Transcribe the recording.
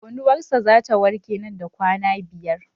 Konuwar sa zata warke nan da kwana biyar